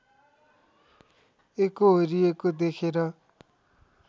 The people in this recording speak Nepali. एकोहोरिएको देखेर